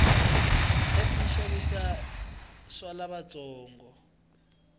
pep yishavisa swalavatsongo